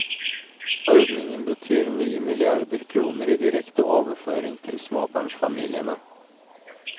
Ordningen betyr nye milliarder kroner i direkte overføringer til småbarnsfamiliene.